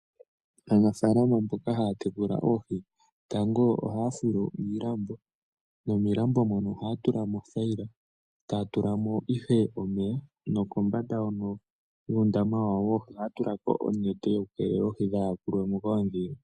Aanafalama mboka haya tekula oohi tango ohaya fulu iilambo nomiilambo mono ohaya tulamo othayila. Etaya tulamo ihe omeya nokombanda yuundama wawo woohi ohaya tulako onete yoku keelela oohi dha yakulwe mo koondhila.